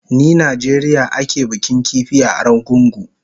Ni Najeriya ake bikin kifi a Argungu